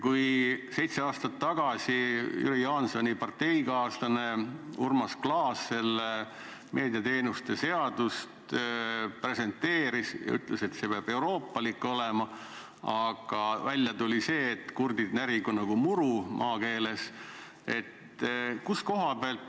Kui seitse aastat tagasi Jüri Jaansoni parteikaaslane Urmas Klaas seda meediateenuste seadust presenteeris ja ütles, et see peab euroopalik olema, siis välja tuli see, et kurdid närigu nagu muru, maakeeles öeldes.